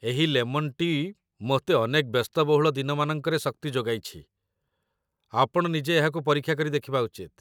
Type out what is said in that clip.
ଏହି lemon tea' ମୋତେ ଅନେକ ବ୍ୟସ୍ତବହୁଳ ଦିନମାନଙ୍କରେ ଶକ୍ତି ଯୋଗାଇଛି, ଆପଣ ନିଜେ ଏହାକୁ ପରୀକ୍ଷା କରି ଦେଖିବା ଉଚିତ